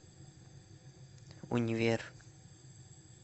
универ